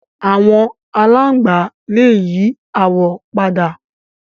Àwọn aláǹgbá lè yí àwọ̀ padà